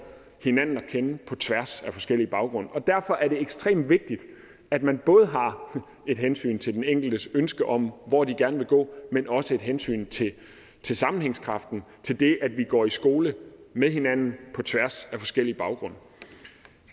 hinanden at kende på tværs af forskellige baggrunde derfor er det ekstremt vigtigt at man både har et hensyn til den enkeltes ønske om hvor de gerne vil gå men også et hensyn til til sammenhængskraften til det at vi går i skole med hinanden på tværs af forskellige baggrunde